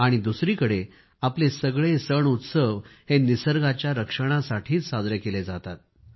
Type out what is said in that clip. आणि दुसरीकडे आपले सगळे सणउत्सव हे निसर्गाच्या रक्षणासाठीच साजरे केले जातात